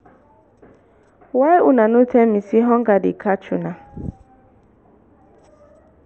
why una no tell me say hunger dey catch una